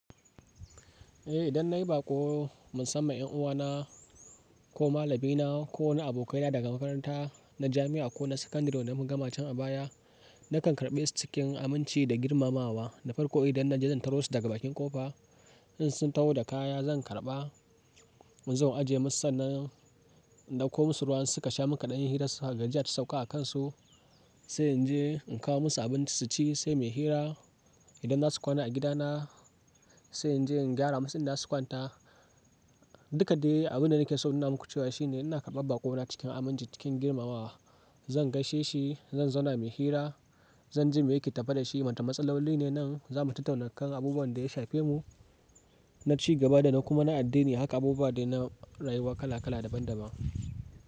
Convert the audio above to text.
Eh idan nayi baƙo musamman ƴan uwana ko malamaina ko na abokaina daga makaranta na jami'a ko na sakandare wanda muka gama can a baya, nakan karɓe su cikin aminci da girmamawa. Da farko idan naje zan taro su daga bakin ƙofa, in sun taho da kaya zan karɓa, zan ajiye musu sannan in ɗauko musu ruwa in suka sha muka ɗan yi hira gajiya ta sauka a kansu. Sai in je in kawo musu abinci su ci sai muyi hira. Idan za su kwana a gidana sai in je in gyara musu inda za su kwanta. Duka dai abunda nake so in nuna muku cewa shine ina karɓa baƙona cikin aminci cikin girmamawa. Zan gaishe shi, zan zauna muyi hira, zan ji me yake tafe da shi. Wata matsaloli ne nan zamu tattauna kan abubuwan da ya shafe mu na ci gaba da na kuma na addini. Haka abubuwa dai na rayuwa kala kala daban daban.